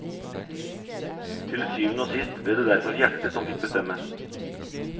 Til syvende og sist ble det derfor hjertet som fikk bestemme.